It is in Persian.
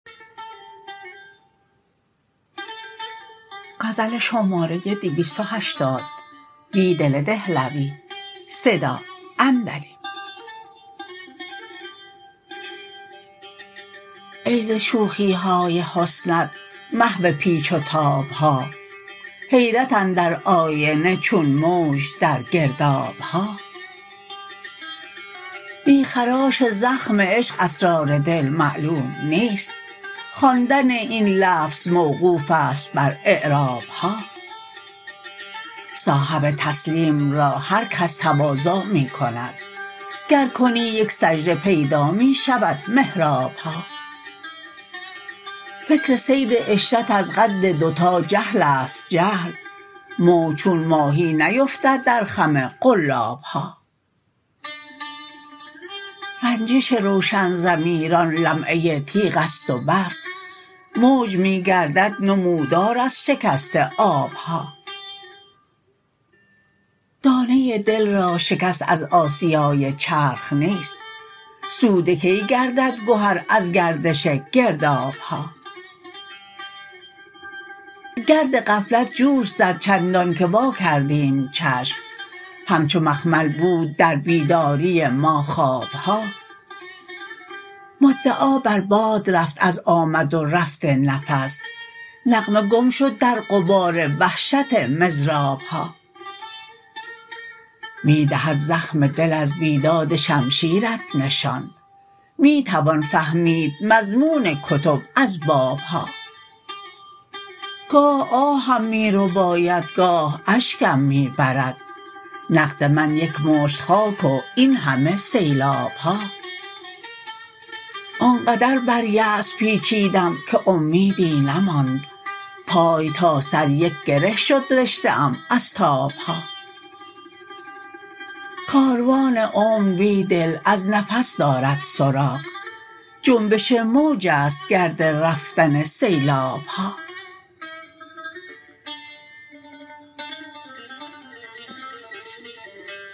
ای ز شوخی های حسن ات محو پیچ و تاب ها حیرت اندر آینه چون موج در گرداب ها بی خراش زخم عشق اسرار دل معلوم نیست خواندن این لفظ موقوف است بر اعراب ها صاحب تسلیم را هرکس تواضع می کند گر کنی یک سجد ه پیدا می شود محراب ها فکر صید عشرت از قد دوتا جهل است جهل موج چون ماهی نیفتد در خم قلاب ها رنجش روشن ضمیران لمعه تیغ است و بس موج می گردد نمودار از شکست آب ها دانه دل را شکست از آسیای چرخ نیست سوده کی گردد گهر از گردش گرداب ها گرد غفلت جوش زد چندانکه واکردیم چشم همچو مخمل بود در بیداری ما خواب ها مدعا بر باد رفت از آمد و رفت نفس نغمه گم شد در غبار وحشت مضراب ها می دهد زخم دل از بیداد شمشیرت نشان می توان فهمید مضمون کتب از باب ها گاه آهم می رباید گاه اشکم می برد نقد من یک مشت خاک و این همه سیلاب ها آنقدر بر یأس پیچیدم که امیدی نماند پای تا سر یک گره شد رشته ام از تاب ها کاروان عمر بیدل از نفس درد سراغ جنبش موج است گرد رفتن سیلاب ها